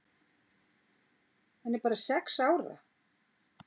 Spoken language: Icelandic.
Hann er bara sex ára.